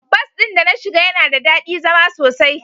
Bus din da na shiga yana da dadi zama sosai.